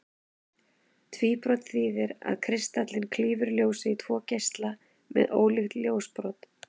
Tvíbrot þýðir það að kristallinn klýfur ljósið í tvo geisla með ólíkt ljósbrot.